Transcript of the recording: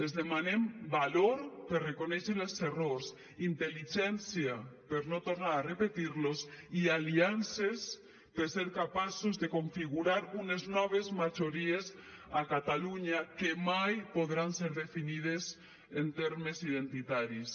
els demanem valor per reconèixer els errors intel·ligència per no tornar a repetir los i aliances per ser capaços de configurar unes noves majories a catalunya que mai podran ser definides en termes identitaris